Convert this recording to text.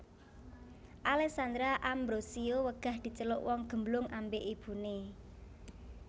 Alessandra Ambrossio wegah diceluk wong gemblung ambek ibune